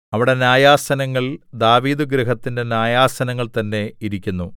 അവിടെ ന്യായാസനങ്ങൾ ദാവീദുഗൃഹത്തിന്റെ ന്യായാസനങ്ങൾ തന്നെ ഇരിക്കുന്നു